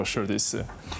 Xoş gördük sizdə.